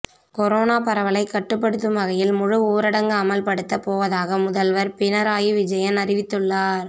corona பரவலை கட்டுப்படுத்தும் வகையில் முழு ஊரடங்கு அமல்படுத்தப்போவதாக முதல்வர் பினராயி விஜயன் அறிவித்துள்ளார்